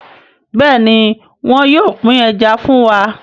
Béèni wón yóò pin Ẹja fún wá.